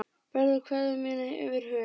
Berðu kveðju mína yfir höf.